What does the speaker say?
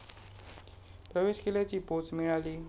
प्रवेश केल्याची पोच मिळाली